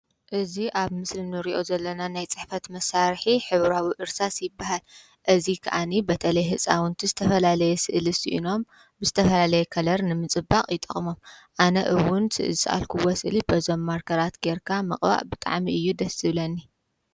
እዚ ምስሊ ሕብራዊ እርሳስ እንትኸውን ህፃናት ይመሃርሉ።